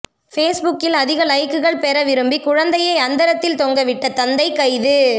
ஃபேஸ்புக்கில் அதிக லைக்குகள் பெற விரும்பி குழந்தையை அந்தரத்தில் தொங்கவிட்ட தந்தை கைது